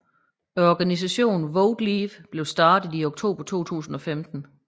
Organisationen Vote Leave blev startet i oktober 2015